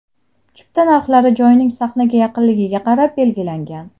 Chipta narxlari joyning sahnaga yaqinligiga qarab belgilangan.